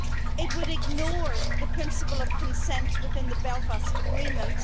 It would ignore the principle of consent within the Belfast Agreement.